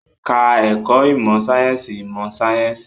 Ka ẹ̀kọ́ ìmọ̀ sáyẹ́sì ìmọ̀ sáyẹ́sì